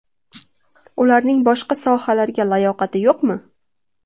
Ularning boshqa sohalarga layoqati yo‘qmi?